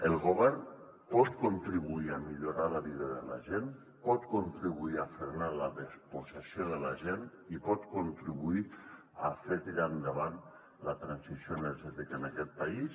el govern pot contribuir a millorar la vida de la gent pot contribuir a frenar la despossessió de la gent i pot contribuir a fer tirar endavant la transició energètica en aquest país